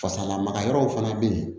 Fasa lamaga yɔrɔ fana bɛ yen